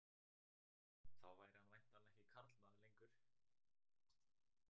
Þá væri hann væntanlega ekki karlmaður lengur.